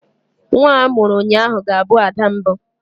Nwa a mụrụ ụnyaahụ ga-abụ ada mbụ.